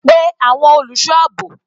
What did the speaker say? Pe àwọn olùṣọ́ àbò.